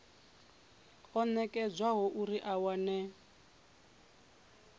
o nekedzwaho uri a wane